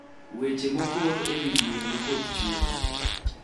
Weche mokor e wi buaya ma koth chue